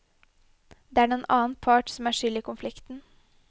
Det er den annen part som er skyld i konflikten.